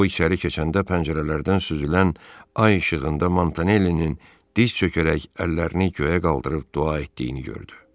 O içəri keçəndə pəncərələrdən süzülən ay işığında Montanellinin diz çökərək əllərini göyə qaldırıb dua etdiyini gördü.